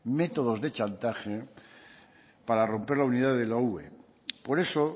métodos de chantaje para romper la unidad de la ue por eso